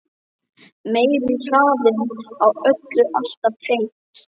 Meiri hraðinn á öllu alltaf hreint.